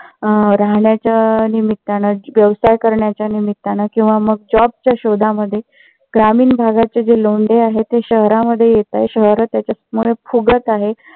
अं राहण्याच्या निमित्तान, व्यवसाय करण्याच्या निमित्तान किंवा मग job शोधामध्ये ग्रामीण भागाचे जे लोंढे आहेत ते शहरामध्ये येत आहेत. शहर त्याच्यामुळे फुगत आहेत.